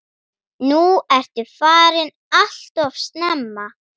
Nú ertu farin alltof snemma.